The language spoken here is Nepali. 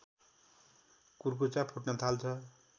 कुर्कुच्चा फुट्न थाल्छ